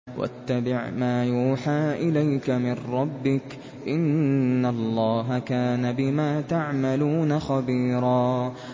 وَاتَّبِعْ مَا يُوحَىٰ إِلَيْكَ مِن رَّبِّكَ ۚ إِنَّ اللَّهَ كَانَ بِمَا تَعْمَلُونَ خَبِيرًا